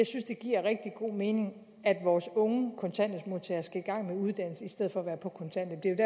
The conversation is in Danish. synes det giver rigtig god mening at vores unge kontanthjælpsmodtagere skal i gang med uddannelse i stedet for at være på kontanthjælp